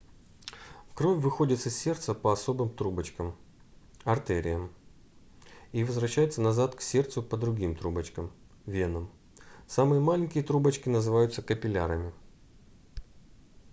кровь выходит из сердца по особым трубочкам артериям и возвращается назад к сердцу по другим трубочкам венам. самые маленькие трубочки называют капиллярами